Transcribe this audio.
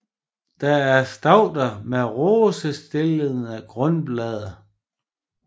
Det er stauder med rosetstillede grundblade